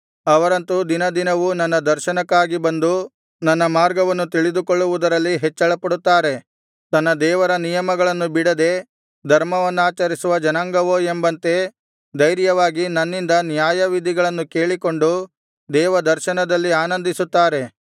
ಅವರಂತು ದಿನದಿನವೂ ನನ್ನ ದರ್ಶನಕ್ಕಾಗಿ ಬಂದು ನನ್ನ ಮಾರ್ಗವನ್ನು ತಿಳಿದುಕೊಳ್ಳುವುದರಲ್ಲಿ ಹೆಚ್ಚಳಪಡುತ್ತಾರೆ ತನ್ನ ದೇವರ ನಿಯಮಗಳನ್ನು ಬಿಡದೆ ಧರ್ಮವನ್ನಾಚರಿಸುವ ಜನಾಂಗವೋ ಎಂಬಂತೆ ಧೈರ್ಯವಾಗಿ ನನ್ನಿಂದ ನ್ಯಾಯವಿಧಿಗಳನ್ನು ಕೇಳಿಕೊಂಡು ದೇವದರ್ಶನದಲ್ಲಿ ಆನಂದಿಸುತ್ತಾರೆ